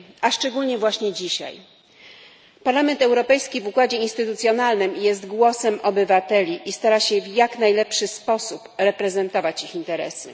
Szczególnie właśnie dzisiaj. Parlament Europejski w układzie instytucjonalnym jest głosem obywateli i stara się w jak najlepszy sposób reprezentować ich interesy.